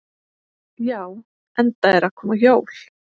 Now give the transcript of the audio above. Já, enda eru að koma jól.